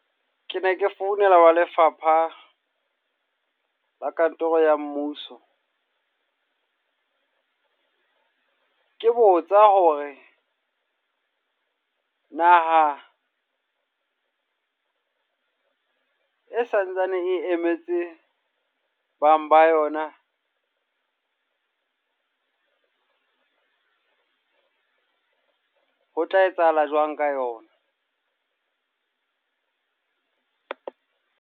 Ke ne ke founela wa Lefapha la Kantoro ya Mmuso. Ke botsa hore naha e santsane e emetse bang ba yona. Ho tla etsahala jwang ka yona?